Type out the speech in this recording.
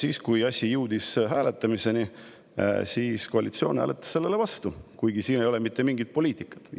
Aga kui asi jõudis hääletamiseni, siis koalitsioon hääletas selle vastu, kuigi selles ei olnud iseenesest mitte mingit poliitikat.